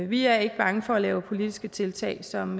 vi er ikke bange for at lave politiske tiltag som